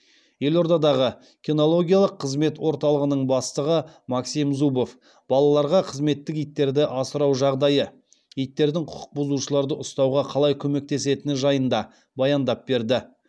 елордадағы кинологиялық қызмет орталығының бастығы максим зубов балаларға қызметтік иттерді асырау жағдайы иттердің құқық бұзушыларды ұстауға қалай көмектесетіні жайында баяндап берді